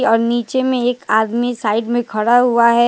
और नीचे में एक आदमी साइड में खड़ा हुआ है।